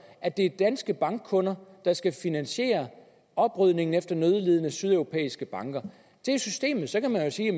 at det er danske bankkunder der skal finansiere oprydningen efter nødlidende sydeuropæiske banker det er systemet så kan man jo sige at